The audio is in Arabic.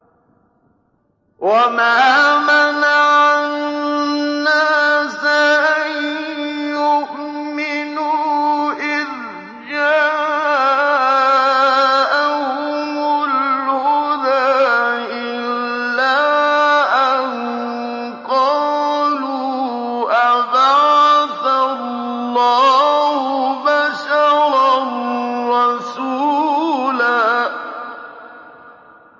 وَمَا مَنَعَ النَّاسَ أَن يُؤْمِنُوا إِذْ جَاءَهُمُ الْهُدَىٰ إِلَّا أَن قَالُوا أَبَعَثَ اللَّهُ بَشَرًا رَّسُولًا